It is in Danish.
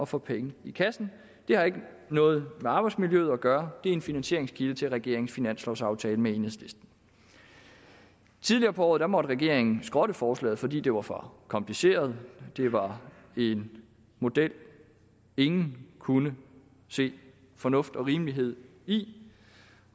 få penge i kassen det har ikke noget med arbejdsmiljøet at gøre det er en finansieringskilde til regeringens finanslovaftale med enhedslisten tidligere på året måtte regeringen skrotte forslaget fordi det var for kompliceret det var en model ingen kunne se fornuft og rimelighed i